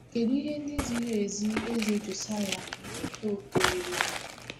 Kedụ ihe ndị ziri ezi Eze Josaịa na-eto eto weere?